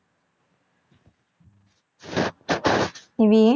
Nivi